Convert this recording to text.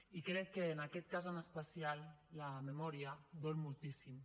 i crec que en aquest cas en especial la memòria dol moltíssim